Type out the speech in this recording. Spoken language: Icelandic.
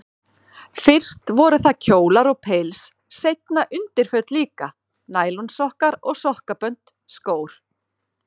Fyrst voru það kjólar og pils, seinna undirföt líka, nælonsokkar og sokkabönd, skór.